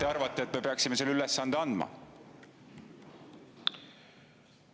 ... et te arvate, et me peaksime selle ülesande andma?